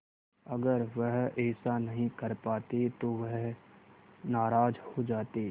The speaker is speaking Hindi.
अगर वह ऐसा नहीं कर पाते तो वह नाराज़ हो जाते